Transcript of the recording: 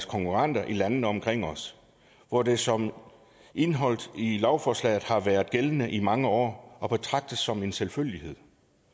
konkurrenter i landene omkring os hvor det som indeholdt i lovforslaget har været gældende i mange år og betragtet som en selvfølgelighed